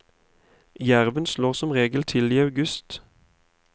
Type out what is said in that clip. Jerven slår som regel til i august.